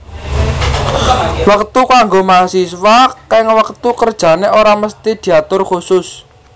Wektu kanggo mahasiswa kang wektu kerjane ora mesthi diatur kusus